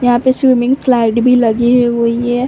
यहाँ पे swimming slide भी लगी हुई है।